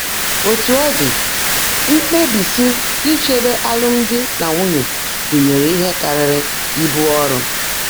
Ótú ó ḍị́, mkpèbísi ícheèbé álụ́mdị́ nà nwúnyé gụ́nyèèré íhe kárị́rị́ íbú ọ́rụ́.